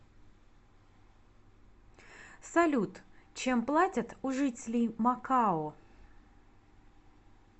салют чем платят у жителей макао